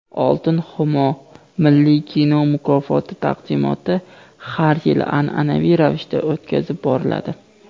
"Oltin Xumo" milliy kino mukofoti taqdimoti har yili an’anaviy ravishda o‘tkazib boriladi;.